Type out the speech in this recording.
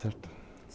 Certo?